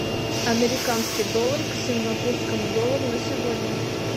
американский доллар к сингапурскому доллару на сегодня